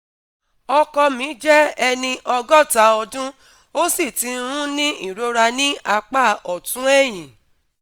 ọkọ mi jẹ́ ẹni ọgọ́ta ọdún, ó sì ti ń ní ìrora ní apá ọ̀tún ẹ̀yìn